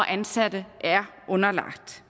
ansatte er underlagt